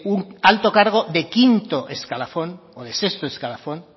un alto cargo de quinto escalafón o de sexto escalafón